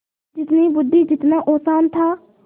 जितनी बुद्वि जितना औसान था